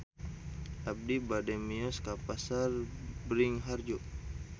Abi bade mios ka Pasar Bringharjo